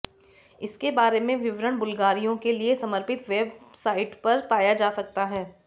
इसके बारे में विवरण बुल्गारिया के लिए समर्पित वेबसाइट पर पाया जा सकता है